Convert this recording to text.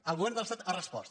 el govern de l’estat ha respost